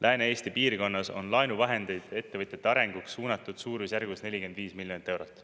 Lääne-Eesti piirkonnas on laenuvahendeid ettevõtjate arenguks suunatud suurusjärgus 45 miljonit eurot.